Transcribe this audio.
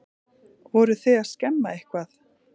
Voruð þið að skemma eitthvað?